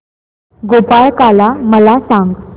गोपाळकाला मला सांग